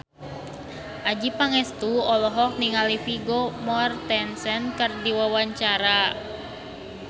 Adjie Pangestu olohok ningali Vigo Mortensen keur diwawancara